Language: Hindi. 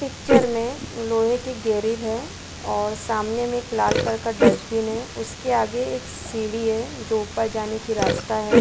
पिक्चर में लोहे की ग्रिल है और सामने में एक लाल कलर का डस्टबिन है उसके आगे एक सीडी है जो ऊपर जाने का रास्ता है।